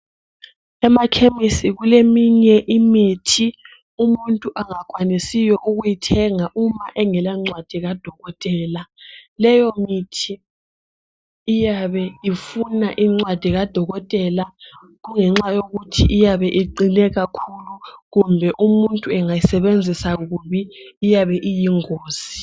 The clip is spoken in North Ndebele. Emakhemisi kuleminye imithi umuntu angakwanisiyo ukuyithenga uma engelancwadi kadokotela leyomithi iyabe ifuna incwadi kadokotela kungenxa yokuthi iyabe iqine kakhulu kumbe umuntu engayisebenzisa kubi iyabe iyingozi